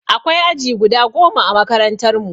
Akwai aji guda goma ã makarantan mu.